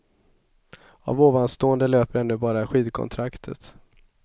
Av ovanstående löper ännu bara skidkontraktet.